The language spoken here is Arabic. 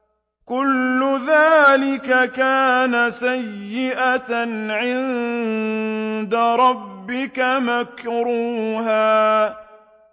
كُلُّ ذَٰلِكَ كَانَ سَيِّئُهُ عِندَ رَبِّكَ مَكْرُوهًا